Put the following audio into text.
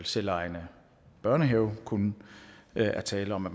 selvejende børnehave kun er tale om at